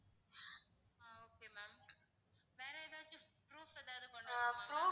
ஆஹ் okay ma'am வேற எதாவது proof ஏதாவது கொண்டு வரணுமா ma'am